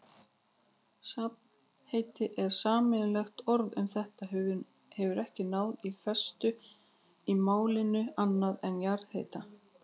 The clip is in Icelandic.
Safnheiti eða sameiginlegt orð um þetta hefur ekki náð festu í málinu, annað en jarðhiti.